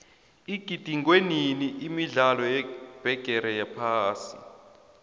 igidingwenini imidlalo yebigiri yephasi